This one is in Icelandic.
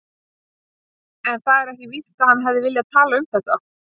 En það er ekki víst að hann hefði viljað tala um þetta.